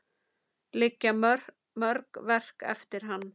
Liggja mörg verk eftir hann.